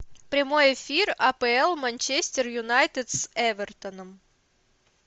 прямой эфир апл манчестер юнайтед с эвертоном